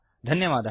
धन्यवादः